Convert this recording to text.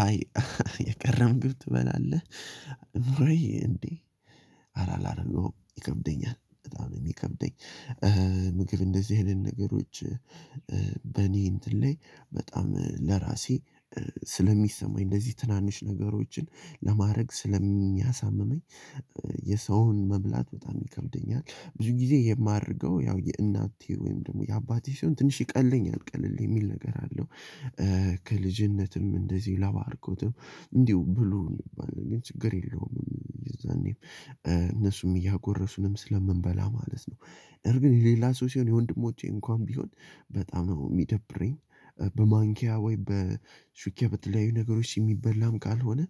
አይ የቀረ ምግብ ትበላለህ? ኑረዬ እንዴ አላደርገውም ይከብደኛል በጣም ነው የሚከብደኝ። ምግብ እንደዚህ አይነት ነገሮች በእኔ እንትን ላይ በጣም ለራሴ ስለሚሰማኝ እንደዚህ ትናንሽ ነገሮችን ለማድረግ ስለሚያሳምመኝ። የሰውን መብላት በጣም ይከብደኛል። ብዙ ጊዜ የማደርገው ያው የእናቴ ወይም ደግሞ የአባቴ ሲሆን ትንሽ ይቀለኛል ቀለል የሚል ነገር አለው። ከልጅነትም እንደዚሁ ለባርኮትም እንዲሁ ብሎ የሚባል ችግር ነገር የለውም የዛኔም እነሱም እያጎረሱንም ስለምንበላ ማለት ነው። ነገር ግን የሌላ ሰው ሲሆን የወንድሞቼ እንኳን ቢሆን በጣም ነው የሚደብረኝ። በማንኪያ ወይ በሹኪያ በተለያዩ ነገሮች የሚበላም ካልሆነ